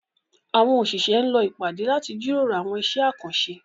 Àwọn òṣìṣẹ́ ń lọ ìpàdé láti jíròrò àwọn iṣẹ́ àkànṣe